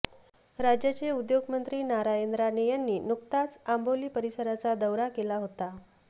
राज्याचे उद्योगमंत्री नारायण राणे यांनी नुकताच आंबोली परिसराचा दौरा केला होता